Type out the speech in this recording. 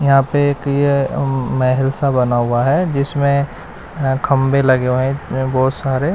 यहां पे एक यह उम्म महल सा बना हुआ है जिसमें अह खंभे लगे हुए हैं अह बहुत सारे।